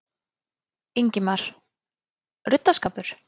Ingimar: Ruddaskapur?